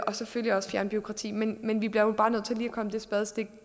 og selvfølgelig også fjerne bureaukrati men men vi bliver jo bare nødt til lige at komme det spadestik